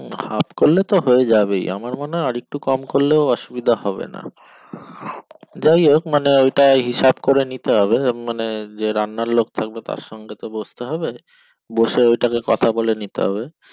হুম half করলে তো হয়েই যাবে আমার মনে হয় আরেকটু কম করলেও অসুবিধা হবে না যাইহোক মানে ওইটা হিসাব করে নিতে হবে মানে যে রান্নার লোক থাকবে তার সঙ্গে বসতে হবে বসে ওইটাকে কথা বলে নিতে হবে